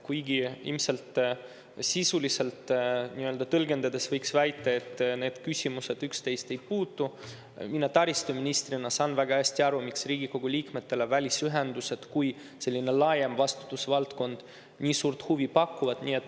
Kuigi ilmselt sisuliselt tõlgendades võiks väita, et need küsimused üksteisesse ei puutu, saan mina taristuministrina väga hästi aru, miks Riigikogu liikmetele välisühendused kui selline laiem vastutusvaldkond nii suurt huvi pakuvad.